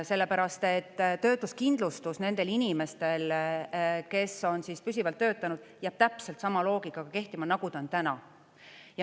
Sellepärast et töötuskindlustus nendel inimestel, kes on püsivalt töötanud, jääb täpselt sama loogikaga kehtima, nagu ta on täna.